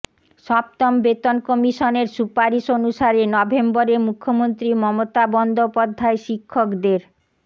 সপ্তম বেতন কমিশনের সুপারিশ অনুসারে নভেম্বরে মুখ্যমন্ত্রী মমতা বন্দ্যোপাধ্যায় শিক্ষকদের